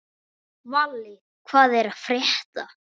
Valli, hvað er að frétta?